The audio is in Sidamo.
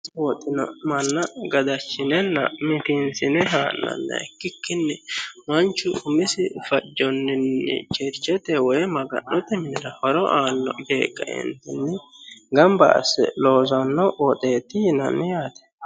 kuni woxino manna gadachinenna mitiinsine haa'nanna ikkikkinni manchu umisi fajonninni cherchete woy maga'note minira horo aanno yee kaeentinni gamba asse loosanno woxeetti yinanni yaate